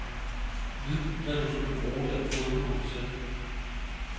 Vid, hvad du skal bruge den fodnote til.